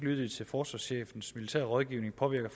lyttede til forsvarschefens militære rådgivning påvirker